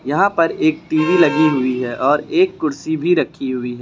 यहां पर एक टी_वी लगी हुई है और एक कुर्सी भी रखी हुई है।